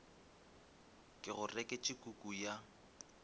ke go reketše kuku ya